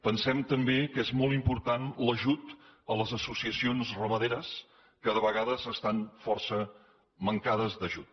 pensem també que és molt important l’ajut a les associacions ramaderes que de vegades estan força mancades d’ajut